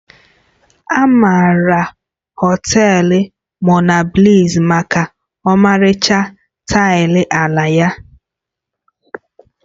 A maara Họtelu Monabliss maka ọmarịcha taịlị ala ya